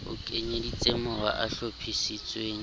o kenyeleditseng mawa a hlophisitsweng